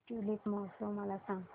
tulip महोत्सव मला सांग